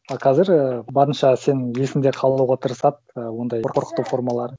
ы қазір і барынша сенің есіңде қалуға тырысады ы ондай қорқыту формалары